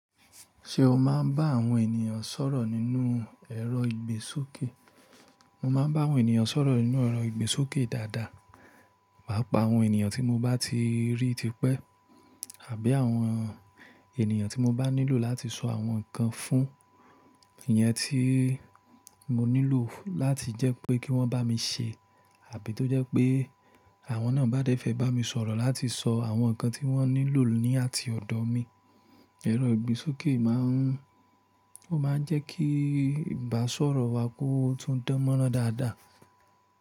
Ṣé o máa ń bá àwọn ènìyàn sọ̀rọ̀ nínú ẹ̀rọ ìgbésókè? Mo máa ń bá àwọn ènìyàn sọ̀rọ̀ nínú ẹ̀rọ ìgbésókè dáadáa. Pàápàá àwọn ènìyàn tí mo bá ti rí tipẹ́ àbí àwọn ènìyàn tí mo bá nílò láti sọ àwọn nǹkan fún, ìyẹn tí mo nílò láti jẹ́ pé kí wọ́n bá mi ṣe àbí tó jẹ́ pé àwọn náà bá dẹ́fẹ̀ bá mi sọ̀rọ̀ láti sọ àwọn nǹkan tí wọ́n nílò ní àti ọ̀dọ̀ mi. Ẹ̀rọ ìgbésókè máa ń, ó máa ń jẹ́ kí ìbáṣọ̀rọ̀ wa kó tún dánmọ́rán dáadáa.